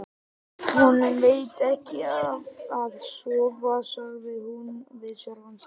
Honum veitir ekki af að sofa, sagði hún við sjálfa sig.